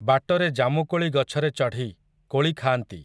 ବାଟରେ ଜାମୁକୋଳି ଗଛରେ ଚଢ଼ି, କୋଳି ଖାଆନ୍ତି ।